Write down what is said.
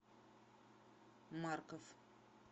марков